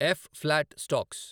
F . Flat stocks